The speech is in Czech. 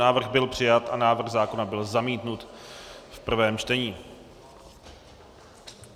Návrh byl přijat a návrh zákona byl zamítnut v prvém čtení.